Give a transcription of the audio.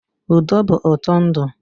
Udo bụ ụtọ ndụ.